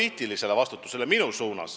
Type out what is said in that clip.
– minu poliitilisele vastutusele.